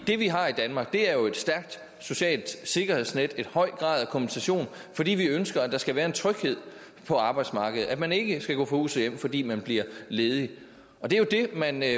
det vi har i danmark er jo et stærkt socialt sikkerhedsnet en høj grad af kompensation fordi vi ønsker at der skal være en tryghed på arbejdsmarkedet altså at man ikke skal gå fra hus og hjem fordi man bliver ledig det er jo det man